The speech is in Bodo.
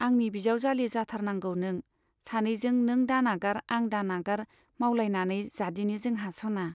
आंनि बिजाउजाली जाथारनांगौ नों , सानैजों नों दानागार आं दानागार मावलायनानै जादिनि जोंहा सना।